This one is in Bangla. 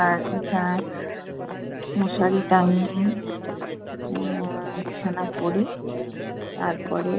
আর বিছানা মশারী টাঙিয়ে আহ বিছানা করে তারপরে